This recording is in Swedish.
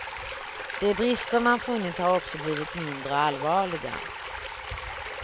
De brister man funnit har också blivit mindre allvarliga.